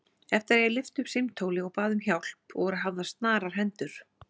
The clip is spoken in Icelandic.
Eftir að ég lyfti upp símtóli og bað um hjálp voru hafðar snarar hendur.